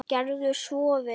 Gerðu svo vel!